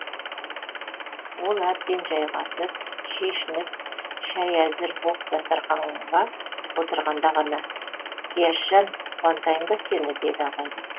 ол әбден жайғасып шешініп шәй әзір боп дастарқанға отырғанда ғана зияшжан қуантайын ба сені деді абайлап